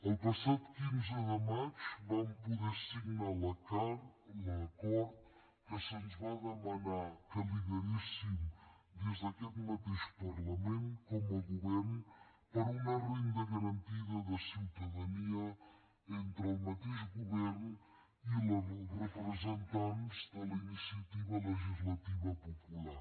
el passat quinze de maig vam poder signar l’acord que se’ns va demanar que lideréssim des d’aquest mateix parlament com a govern per a una renda garantida de ciutadania entre el mateix govern i els representants de la iniciativa legislativa popular